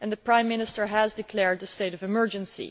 The Prime Minister has declared a state of emergency.